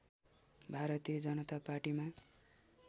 भारतीय जनता पार्टीमा